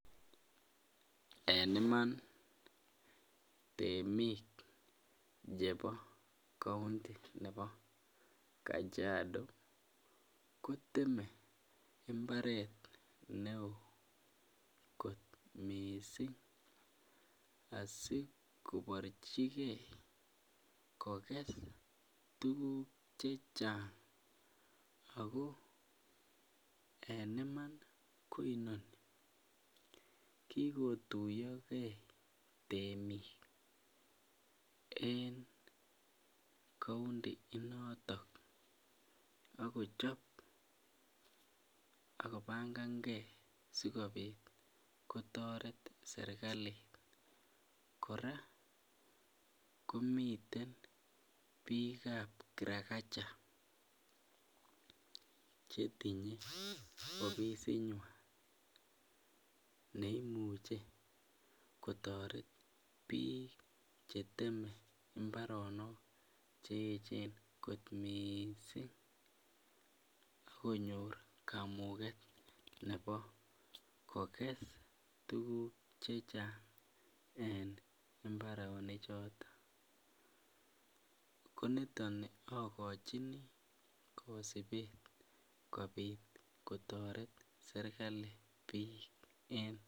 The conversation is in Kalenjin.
en imaan iih temiik chebo kaonti nebo Kajiado koteme imbareet neoo kot mising asikoborjigee kogees tuguk chechang ago en iman iih koimuch kigotuyo gee temiik en kaonti initon ak kochob ak kobangan ngee sigobiit kotoret serkali, kora komiten biik ab kirakacha chetinye ofisit nywaan neimuche kotoret biik cheteme imbaronook cheechen kot mising konyoor kamuget nebo koges tuguk chechang en imbaronik choton, ko niton ogochinii kosibuuk kobiit kotoret serkali biik en,,